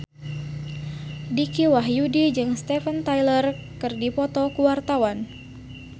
Dicky Wahyudi jeung Steven Tyler keur dipoto ku wartawan